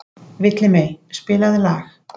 Villimey, spilaðu lag.